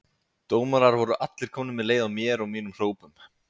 Dómarar voru allir komnir með leið á mér og mínum hrópum.